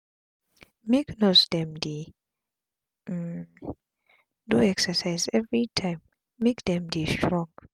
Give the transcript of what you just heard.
make nurse dem dey um do exercise everi time make dem dey strong